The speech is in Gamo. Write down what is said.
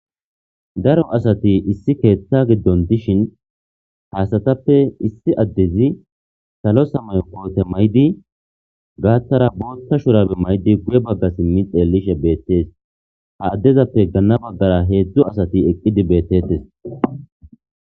daro asati issi keeththa giddon dishin haasatappe issi addezi salo samayo kote maydi gaattara bootta shurabe maydi guye bagga simmi xeellishe beettees ha addezappe ganna baggara heedzdzu asati eqqidi beettettes